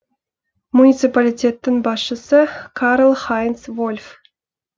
муниципалитеттің басшысы карл хайнц вольф